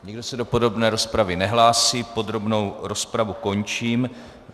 Nikdo se do podrobné rozpravy nehlásí, podrobnou rozpravu končím.